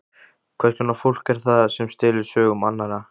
Hvers konar fólk er það sem stelur sögum annarra?